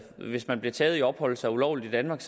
hvis man bliver taget i at opholde sig ulovligt i danmark